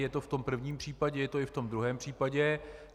Je to v tom prvním případě, je to i v tom druhém případě.